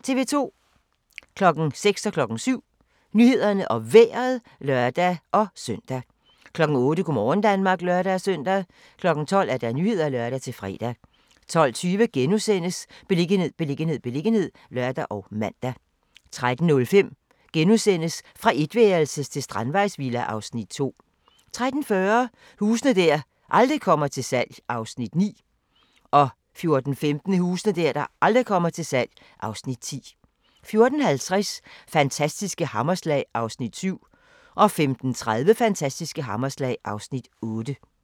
06:00: Nyhederne og Vejret (lør-søn) 07:00: Nyhederne og Vejret (lør-søn) 08:00: Go' morgen Danmark (lør-søn) 12:00: Nyhederne (lør-fre) 12:20: Beliggenhed, beliggenhed, beliggenhed *(lør og man) 13:05: Fra etværelses til strandvejsvilla (Afs. 2)* 13:40: Huse der aldrig kommer til salg (Afs. 9) 14:15: Huse der aldrig kommer til salg (Afs. 10) 14:50: Fantastiske hammerslag (Afs. 7) 15:30: Fantastiske hammerslag (Afs. 8)